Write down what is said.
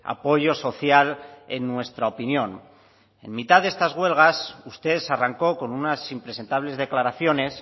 apoyo social en nuestra opinión en mitad de estas huelgas usted arrancó con unas impresentables declaraciones